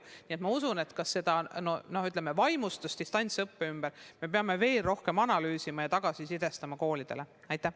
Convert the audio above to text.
Üldiselt ma usun, et seda vaimustust distantsõppest me peame veel rohkem analüüsima ja koolidele tulemusi tagasisidestama.